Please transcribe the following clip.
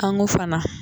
An ko fana